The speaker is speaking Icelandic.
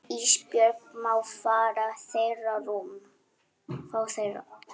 Ísbjörg má fá þeirra rúm.